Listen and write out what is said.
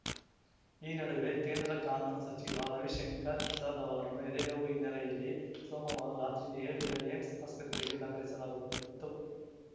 ಈ ನಡುವೆ ಕೇಂದ್ರ ಕಾನೂನು ಸಚಿವ ರವಿಶಂಕರ್‌ ಪ್ರಸಾದ್‌ ಅವರನ್ನು ಎದೆನೋವು ಹಿನ್ನೆಲೆಯಲ್ಲಿ ಸೋಮವಾರ ರಾತ್ರಿ ದೆಹಲಿಯ ಏಮ್ಸ್‌ ಆಸ್ಪತ್ರೆಗೆ ದಾಖಲಿಸಲಾಗುತ್ತಿತ್ತು